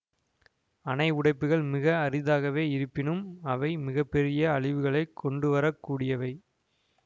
அணை உடைப்புகள் மிக அரிதாகவே இருப்பினும் அவை மிக பெரிய அழிவுகளைக் கொண்டுவர கூடியவை